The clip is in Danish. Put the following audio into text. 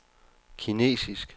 kinesisk